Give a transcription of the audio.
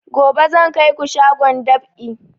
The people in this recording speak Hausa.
Gobe zan kai ku shagon dab'i